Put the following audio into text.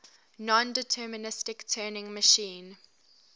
nondeterministic turing machine